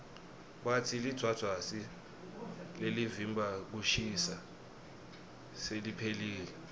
batsi lidvwadvwasi lelivimba kushisa seliphelile